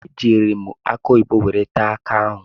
Ejiiri m akụ oyibo were taa ọka ahụ.